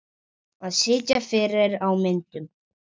Að sitja fyrir á myndum?